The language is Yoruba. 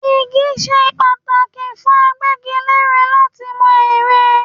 Igi ṣe pàtàkì fún agbégilére láti mọ ère.